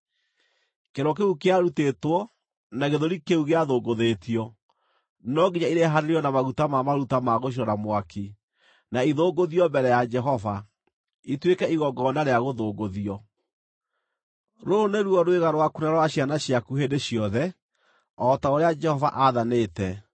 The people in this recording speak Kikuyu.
Kĩero kĩu kĩarutĩtwo, na gĩthũri kĩu gĩathũngũthĩtio, no nginya irehanĩrio na maguta ma maruta ma gũcinwo na mwaki, na ithũngũthio mbere ya Jehova, ituĩke igongona rĩa gũthũngũthio. Rũrũ nĩruo rwĩga rwaku na rwa ciana ciaku hĩndĩ ciothe, o ta ũrĩa Jehova aathanĩte.”